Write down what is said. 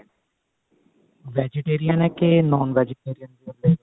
vegetarian ਹੈ ਕੇ non vegetarian ਹੈ